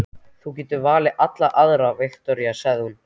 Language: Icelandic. Þú getur valið allar aðrar, Viktoría, sagði hún.